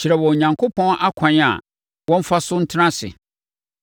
Kyerɛ wɔn Onyankopɔn akwan a wɔmfa so ntena ase.